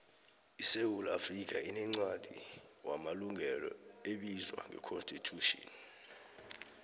isewula afrikha inencwadi wamalungelo ebizwa ngeconsitution